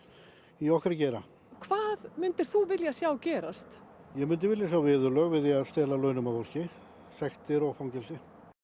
í okkar geira hvað myndir þú vilja sjá gerast ég myndi vilja sjá viðurlög við því að stela launum af fólki sektir og fangelsi